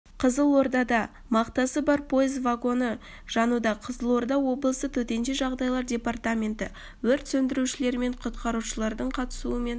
қызылордада мақтасы бар пойыз вагоны жануда қызылорда облысы төтенше жағдайлар департаменті өрт сөндірушілер және құтқарушылардың қатысуымен